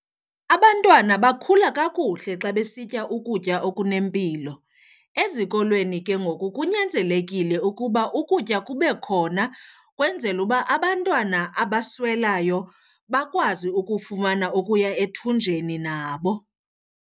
Abantwana bakhula kakuhle xa besitya ukutya okunempilo. Ezikolweni ke ngoku kunyanzelekile ukuba ukutya kube khona ukwenzela uba abantwana abaswelayo bakwazi ukufumana okuya ethunjeni nabo.